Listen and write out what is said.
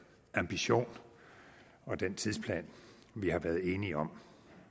ambition og den tidsplan vi har været enige om